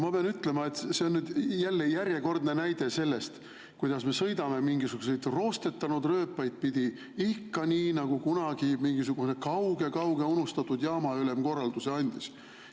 Ma pean ütlema, et see on järjekordne näide, kuidas me sõidame mingisuguseid roostetanud rööpaid pidi ikka nii, nagu kunagi kaugel-kaugel mingisugune unustatud jaamaülem korralduse andis.